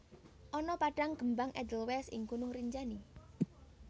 Ana padang kembang edelwais ing Gunung Rinjani